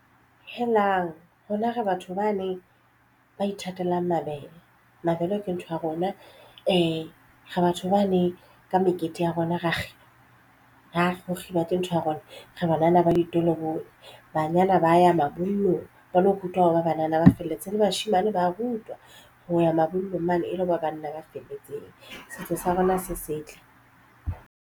Helang, rona re batho bane ba ithatelang mabele, mabele ke ntho ya rona re batho bane ka mekete ya rona ra kgiba ke ntho ya rona. Re banana ba ditolobonya banyana ba ya mabollong ba lo rutwa hore ba banana ba felletse le bashemane ba rutwa ho ya mabollong mane e la ba banna ba felletseng setso sa rona se setle.